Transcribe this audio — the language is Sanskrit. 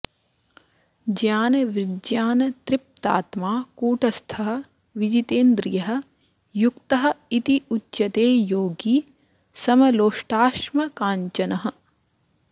ज्ञानविज्ञानतृप्तात्मा कूटस्थः विजितेन्द्रियः युक्तः इति उच्यते योगी समलोष्टाश्मकाञ्चनः